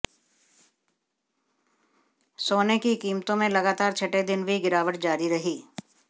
सोने की कीमतों में लगातार छठे दिन भी गिरावट जारी रही